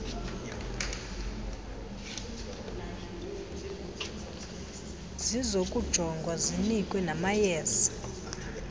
zizokujongwa zinikwe namayeza